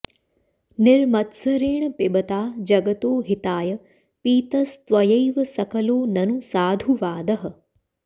निर्मत्सरेण पिबता जगतो हिताय पीतस्त्वयैव सकलो ननु साधुवादः